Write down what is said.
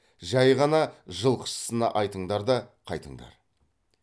жай ғана жылқышысына айтыңдар да қайтыңдар